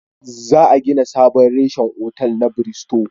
Za a gina sabon reshen otal na Biristo